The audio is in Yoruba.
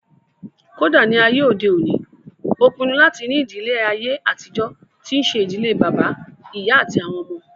Kódà ní àyè òde òní, ó pinnu láti ní ìdílé àyè àtijọ́ tí ṣe ìdílé bàbá, ìyá àti àwọn ọmọ